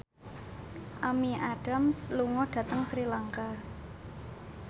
Amy Adams lunga dhateng Sri Lanka